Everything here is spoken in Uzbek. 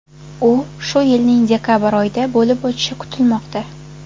U shu yilning dekabr oyida bo‘lib o‘tishi kutilmoqda.